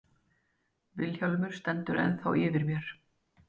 Vilhjálmur stendur ennþá yfir mér.